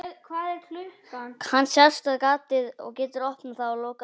Hann sest við gatið og getur opnað það og lokað að vild.